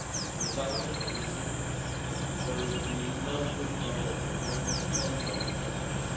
solve it. Without a solution, there will be no withdrawal agreement and no transition.